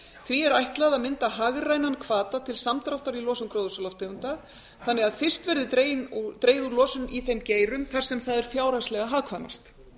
því er ætlað að mynda hagrænan hvata til samdráttar í losun gróðurhúsalofttegunda þannig að fyrst verði dregið úr losun í þeim geirum þar sem það er fjárhagslega hagkvæmast